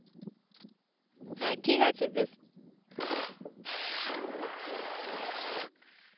হ্যাঁ ঠিক আছে বেশ